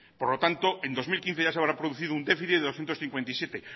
por lo tanto en dos mil quince ya se habrá producido un déficit de doscientos cincuenta y siete